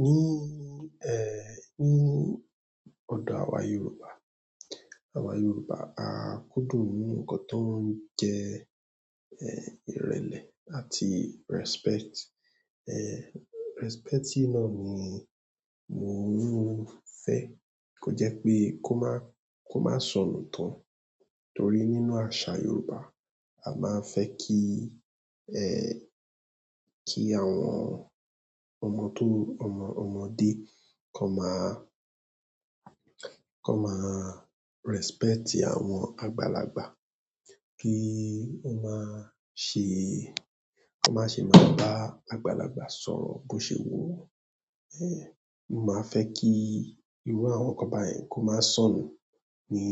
Ni odo awa yorùbá, awa yorùbá a kúndùn nkan to n je irele àti respect respect yìí náà ni mo ni mo fẹ́ kó jẹ́ pé kó má, kó má sọnù tán. Torí nínú àṣà Yoruba, a máa ń fẹ́ kí, kí àwọn ọmọdé kam máa, kan máa respect àwọn àgbàlagbà. Kí ó máa ṣe, kó má ṣe máa bá àgbàlagbà sọ̀rọ̀ bó ṣe wu won. Mo máa fẹ́ kí irú àwọn nǹkan báyìí kó máa sọnù ní